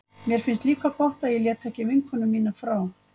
Mér finnst líka gott að ég lét ekki vinkonu mína frá